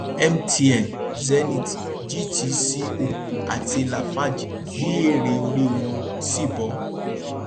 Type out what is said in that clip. mtn zenith gtco àti lafarge rí èrè orí wọn sì bọ